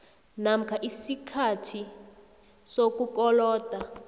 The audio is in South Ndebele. namkha isikhathi sokukoloda